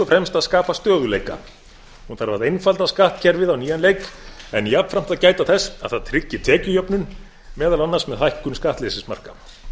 fremst að skapa stöðugleika hún þarf að einfalda skattkerfið á nýjan leik en jafnframt gæta þess að það tryggi tekjujöfnun meðal annars með hækkun skattleysismarka